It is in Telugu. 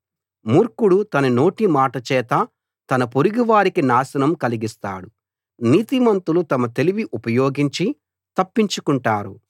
మూర్ఖుడు తన నోటి మాటచేత తన పొరుగువారికి నాశనం కలిగిస్తాడు నీతిమంతులు తమ తెలివి ఉపయోగించి తప్పించుకుంటారు